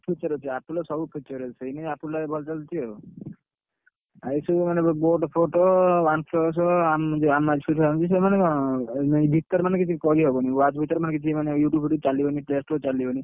Feature ଅଛି Apple ର ସବୁ feature ଅଛି ସେଥିପାଇଁ Apple ଟା ଏବେ ଭଲ ଚାଲିଛି ଆଉ, ଏଇ ସବୁ ମାନେ BoAt ଫୋଟ OnePlus ସେମାମନେ କଣ ଭିତରେ ମାନେ କିଛି କରି ହବନି watch ଭିତରେ ମାନେ କିଛି ମାନେ YouTube ଫିଉଟଉବେ Play Store ହେରିକା କିଛି ଚାଲିବନି।